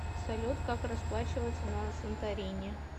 салют как расплачиваться на санторини